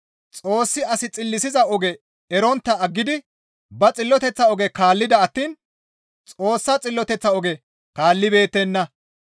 Xoossi as xillisiza oge erontta aggidi ba xilloteththa oge kaallida attiin Xoossa xilloteththa oge kaallibeettenna.